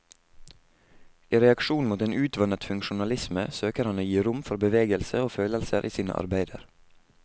I reaksjon mot en utvannet funksjonalisme søker han å gi rom for bevegelse og følelser i sine arbeider.